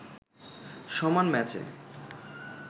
সমান ম্যাচে